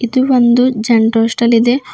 ಇದು ಒಂದು general store ಇದೆ.